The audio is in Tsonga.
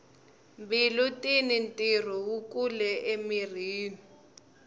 mbilu tini ntirho wu kulu emirhini